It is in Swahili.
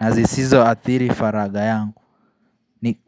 na zisizoathiri faraga yangu Nik.